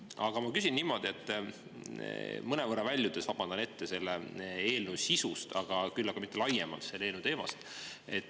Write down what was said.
Aga ma küsin niimoodi, mõnevõrra väljudes – vabandan ette – selle eelnõu sisust, aga mitte laiemalt selle eelnõu teemast.